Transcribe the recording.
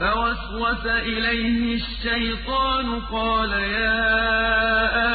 فَوَسْوَسَ إِلَيْهِ الشَّيْطَانُ قَالَ يَا